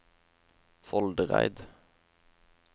Foldereid